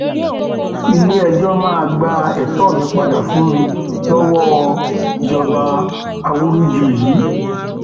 iléẹjọ máa gba ẹtọ mi padà fún mi lọwọ lọwọ ìjọba awúrúju yìí